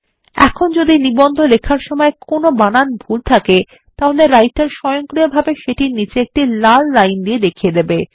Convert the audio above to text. এখন যদি নিবন্ধ লেখার সময় কোন বানান ভুল থাকে তাহলে রাইটার স্বয়ংক্রিয়ভাবে সেটির নিচে একটি লাল লাইন দিয়ে দেখিয়ে দেবে